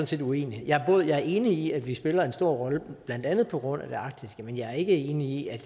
set uenig jeg er enig i at vi spiller en stor rolle blandt andet på grund af det arktiske men jeg er ikke enig i at